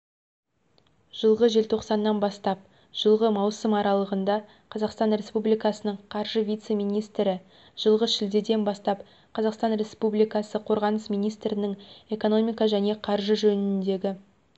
жылғы желтоқсаннан бастап жылғы маусым аралығында қазақстан республикасының қаржы вице-министрі жылғы шілдеден бастап қазақстан республикасы қорғаныс министрінің экономика және қаржы жөніндегі